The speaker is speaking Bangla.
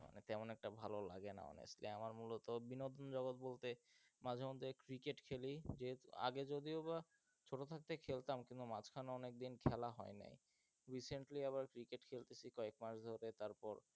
তেমন একটা ভাল লাগে না আমার, আমার মুলত বিনোদন জগত বলতে মাঝে মধ্যে cricket খেলি আগে যদিও বা ছোট থাকতে খেলতাম কিন্তু মাঝখানে অনেকদিন খেলা হয়নি recently আবার cricket খেলতেসি কয়েক মাস ধরে তারপর,